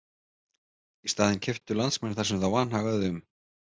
Í staðinn keyptu landsmenn það sem þá vanhagaði um.